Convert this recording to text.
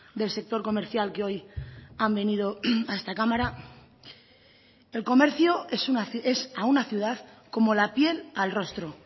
del sector comercial que hoy han venido a esta cámara el comercio es a una ciudad como la piel al rostro